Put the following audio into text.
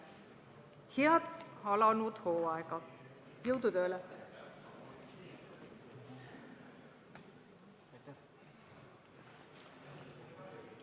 Head alanud hooaega, jõudu tööle!